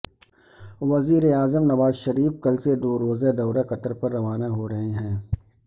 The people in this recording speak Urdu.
وزیراعظم نواز شریف کل سے دو روزہ دورہ قطر پر روانہ ہو رہے ہیں